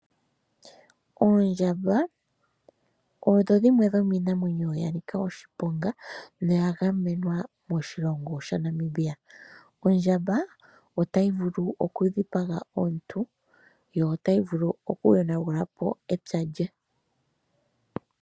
Oondjamba odho dhimwe dhomiinamwenyo ya nika oshiponga noya gamenwa moshilongo shaNamibia. Ondjamba otayi vulu oku dhipaga omuntu, yo otayi vulu oku yonagula po epya lye.